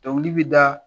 Dɔnkili bi da